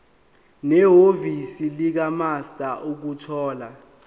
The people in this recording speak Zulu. nehhovisi likamaster ukuthola